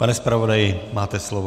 Pane zpravodaji, máte slovo.